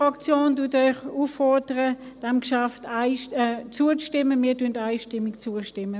Die SVP fordert Sie auf, diesem Geschäft zuzustimmen.